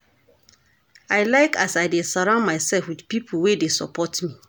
I like as I dey surround mysef wit pipo wey dey support me.